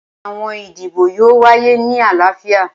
Awọn idibo yoo waye ni alaafia.